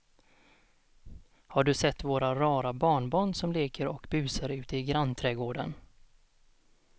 Har du sett våra rara barnbarn som leker och busar ute i grannträdgården!